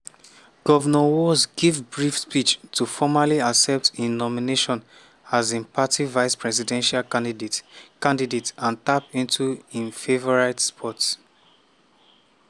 govnor walz give a brief speech to formally accept im nomination as im party vice-presidential candidate candidate - and tap into im favourite sport.